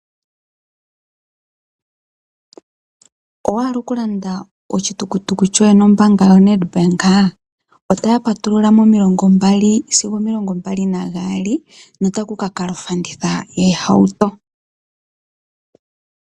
Owa hala okulanda oshitukutuku shoye no mbanga yoNedbank ? Otaya patulula mo milongo mbali sigo omilongo mbali nagali no takukakala ofanditha yo hauto.